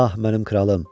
Ah, mənim kralım.